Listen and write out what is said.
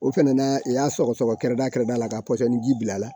O fɛnɛ na i y'a sɔgɔsɔgɔ-kɛrɛda kɛrɛda la ka pɔsɔni ji bila a la